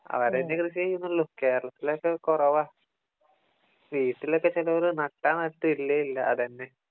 അവരെന്നെ കൃഷി ചെയ്യുന്നുള്ളൂ കേരളത്തിലൊക്കെ കുറവാ വീട്ടിലൊക്കെ ചിലവര് നട്ടാ നട്ട് ഇല്ലേ ഇല്ല അത് തന്നെ